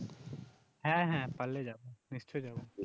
হ্যাঁ হ্যাঁ পারলে যাবো নিশ্চই যাবো